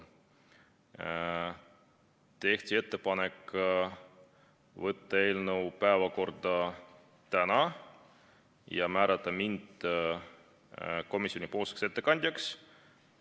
Tehti ettepanek võtta eelnõu päevakorda tänaseks ja määrata mind komisjoni ettekandjaks.